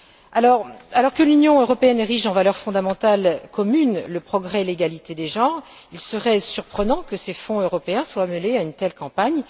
Alors que l'Union européenne érige en valeurs fondamentales communes le progrès et l'égalité des genres, il serait surprenant que ces fonds européens soient mêlés à une telle campagne.